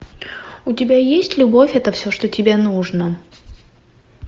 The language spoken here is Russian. у тебя есть любовь это все что тебе нужно